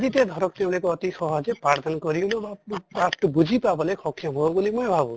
জিতে ধৰক তেওঁলোকে অতি সহজে পাঠ দান কৰিলেও বা পাঠ্টো বুজি পাবলে স্ক্ষেম হʼব বুলি মই ভাবো